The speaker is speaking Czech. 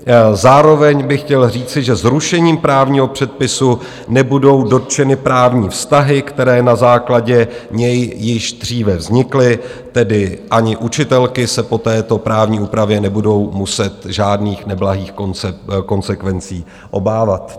Zároveň bych chtěl říci, že zrušením právního předpisu nebudou dotčeny právní vztahy, které na základě něj již dříve vznikly, tedy ani učitelky se po této právní úpravě nebudou muset žádných neblahých konsekvencí obávat.